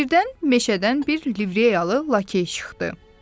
Birdən meşədən bir Livreyalı Lakey çıxdı.